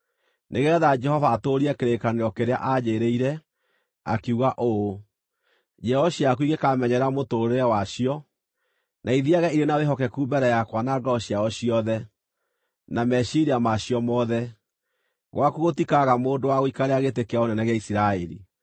nĩgeetha Jehova atũũrie kĩĩranĩro kĩrĩa aanjĩĩrĩire, akiuga ũũ: ‘Njiaro ciaku ingĩkaamenyerera mũtũũrĩre wacio, na ithiiage irĩ na wĩhokeku mbere yakwa na ngoro ciao ciothe, na meciiria macio mothe, gwaku gũtikaga mũndũ wa gũikarĩra gĩtĩ kĩa ũnene gĩa Isiraeli.’